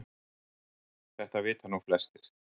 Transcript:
Þetta vita nú flestir